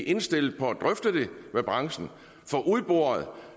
indstillet på at drøfte det med branchen